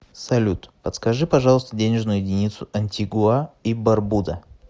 салют подскажи пожалуйста денежную единицу антигуа и барбуда